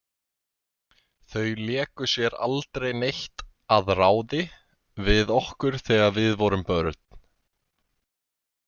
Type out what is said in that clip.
Þau léku sér aldrei neitt að ráði við okkur þegar við vorum börn.